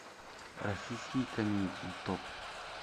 российские комедии топ